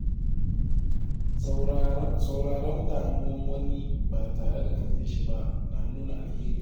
Sauraron damuwar wani ba tare da katse shi ba na nuna alheri.